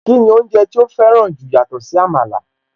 Kíni oúnjẹ tí ó fẹ́ràn jù yàtọ̀ sí Àmàlà?